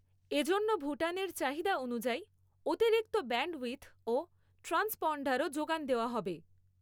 এ জন্য ভুটানের চাহিদা অনুযায়ী অতিরিক্ত ব্যান্ডউইডথ ও ট্রান্সপন্ডারও যোগান দেওয়া হবে।